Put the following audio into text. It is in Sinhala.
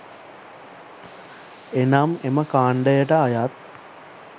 එනම් එම කාණ්ඩයට අයත්